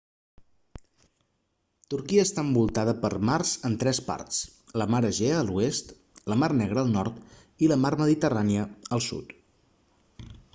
turquia està envoltada per mars en tres parts la mar egea a l'oest la mar negra al nord i la mar mediterrània al sud